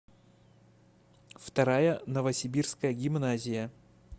вторая новосибирская гимназия